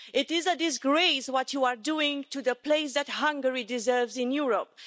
It is a disgrace what you are doing to the place that Hungary deserves in Europe.